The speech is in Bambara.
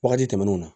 Wagati tɛmɛnenw na